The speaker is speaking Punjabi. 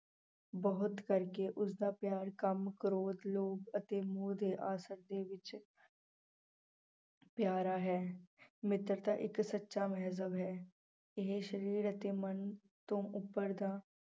ਬਹੁਤ ਕਰਕੇ ਉਸਦਾ ਪਿਆਰ ਕਾਮ, ਕ੍ਰੋਧ, ਲੋਭ ਅਤੇ ਮੋਹ ਦੇ ਅਸਰ ਦੇ ਵਿੱਚ ਪਿਆਰਾ ਹੈ ਮਿੱਤਰਤਾ ਇੱਕ ਸੱਚਾ ਹੈ, ਇਹ ਸਰੀਰ ਅਤੇ ਮਨ ਤੋਂ ਉੱਪਰ ਦਾ